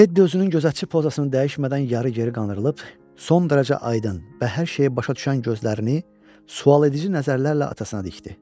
Ted özünün gözəlçə pozasını dəyişmədən yarı geri qandırılıb, son dərəcə aydın və hər şeyi başa düşən gözlərini sualedici nəzərlərlə atasına dikdi.